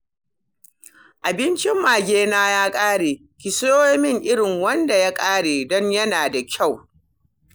Abincin magena ya ƙare, ki siyo min irin wanda ya ƙare don yana da kyau